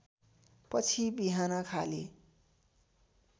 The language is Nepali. पछि बिहान खाली